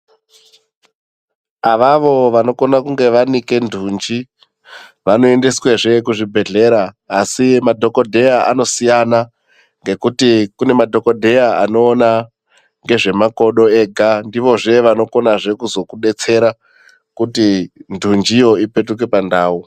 Avavo vanokona kunge vanike ntunji, vanoendeswezve kuzvibhedhlera, asi madhokodheya anosiyana, ngekuti kune madhokodheya anoona ngezvemakodo ega, ndivozve vanokonazve kuzokudetsera, kuti ntunjiyo ipetuke pandau.